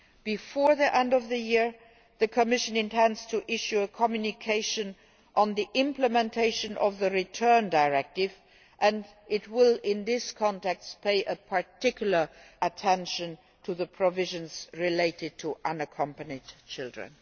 Before the end of the year the Commission intends to issue a communication on the implementation of the Return Directive and it will, in this context, pay particular attention to the provisions relating to unaccompanied children.